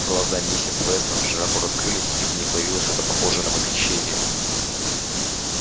глаза миссис вестон широко раскрылись и в них появилось что-то похожее на восхищение